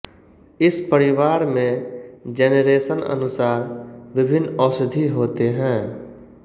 इस परिवार मै जेनेरेसन अनुसार विभिन्न औषधि होते है